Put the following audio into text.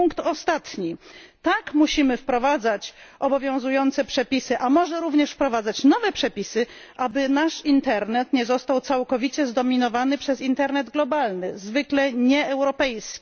I punkt ostatni tak, musimy wprowadzać obowiązujące przepisy, a może również wprowadzać nowe przepisy, aby nasz internet nie został całkowicie zdominowany przez internet globalny, zwykle nieeuropejski.